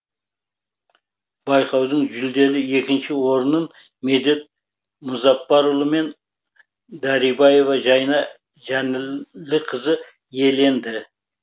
байқаудың жүлделі екінші орнын медет мұзапбарұлы мен дарибаева жайна жаніліқызы иеленді